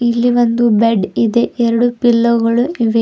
ಇಲ್ಲಿ ಒಂದು ಬೆಡ್ ಇದೆ ಎರಡು ಪಿಲ್ಲೊ ಗಳು ಇವೆ.